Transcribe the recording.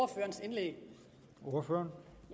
jeg